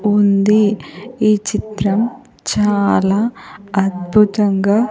ఉంది ఈ చిత్రం చాలా అద్భుతంగా.